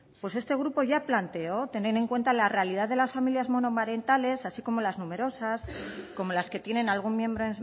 pues este grupo ya planteó tener en cuenta la realidad de las familias monomarentales así como las numerosas como las que tienen algún miembro